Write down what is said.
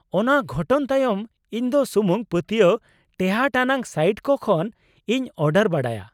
ᱚᱱᱟ ᱜᱷᱚᱴᱚᱱ ᱛᱟᱭᱚᱢ ᱤᱧ ᱫᱚ ᱥᱩᱢᱩᱝ ᱯᱟᱹᱛᱭᱟᱹᱣ ᱴᱮᱦᱟᱸᱴ ᱟᱱᱟᱜ ᱥᱟᱭᱤᱴ ᱠᱚ ᱠᱷᱚᱱ ᱤᱧ ᱚᱰᱟᱨ ᱵᱟᱲᱟᱭᱟ ᱾